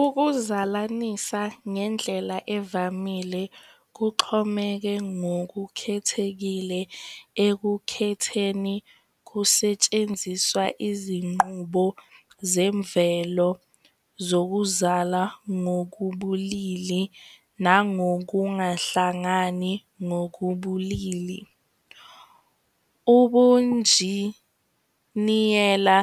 Ukuzalanisa ngendlela evamile kuxhomeke ngokukhethekile ekukhetheni kusetshenziswa izinqubo zemvelo zokuzala ngokubulili nangokungahlangani ngokobulili. Ubunjiniyela